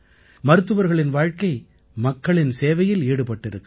மருத்துவர்களின் வாழ்க்கை மக்களின் சேவையில் ஈடுபட்டிருக்கிறது